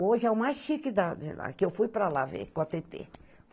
Hoje é o mais chique da de lá, que eu fui para lá ver, com a Tetê.